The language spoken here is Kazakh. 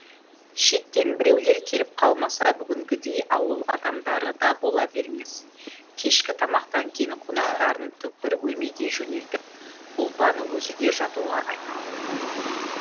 шеттен біреулер келіп қалмаса бүгінгідей ауыл адамдары да бола бермес кешкі тамақтан кейін қонақтарын түкпір бөлмеге жөнелтіп ұлпан өзі де жатуға айналды